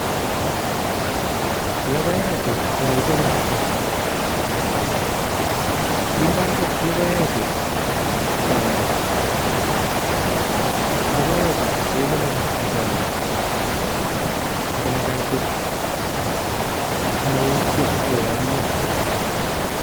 Lokoechu olekikonortoi kondoi lokoechu choke, lokoechu kekonori en choke en olee kaitit simoukyo ak koyomnyo.